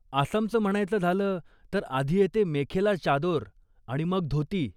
आसामचं म्हणायचं झालं, तर आधी येते मेखेला चादोर, आणि मग धोती.